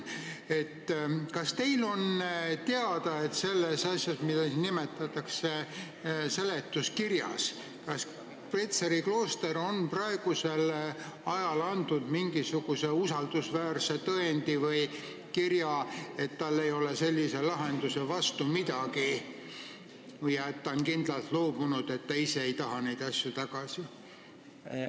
Kas teile on teada, et Petseri klooster on selles asjas, mida siin seletuskirjas nimetatakse, nüüd andnud mingisuguse usaldusväärse tõendi, et tal ei ole sellise lahenduse vastu midagi ja et ta on nõudest kindlalt loobunud, ei taha neid asju tagasi?